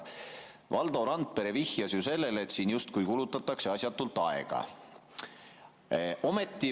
Valdo Randpere vihjas sellele, et siin justkui kulutatakse asjatult aega.